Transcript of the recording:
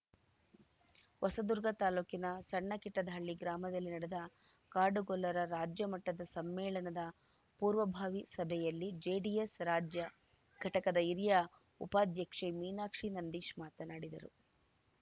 ಹೊಸದುರ್ಗ ತಾಲೂಕಿನ ಸಣ್ಣ ಕಿಟ್ಟದಹಳ್ಳಿ ಗ್ರಾಮದಲ್ಲಿ ನಡೆದ ಕಾಡುಗೊಲ್ಲರ ರಾಜ್ಯ ಮಟ್ಟದ ಸಮ್ಮೇಳನದ ಪೂರ್ವಭಾವಿ ಸಭೆಯಲ್ಲಿ ಜೆಡಿಎಸ್‌ ರಾಜ್ಯ ಘಟಕದ ಹಿರಿಯ ಉಪಾಧ್ಯಕ್ಷೆ ಮೀನಾಕ್ಷಿ ನಂದೀಶ್‌ ಮಾತನಾಡಿದರು